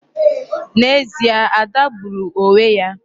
N'ezie, Ada gbùrù onwe ya.